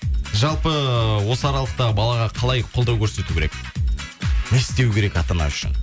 жалпы осы аралықтағы балаға қалай қолдау көрсету керек не істеу керек ата ана үшін